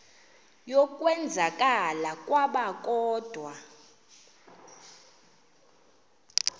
yokwenzakala kwabo kodwa